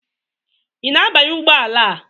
Ị na-abanye ụgbọ ala a?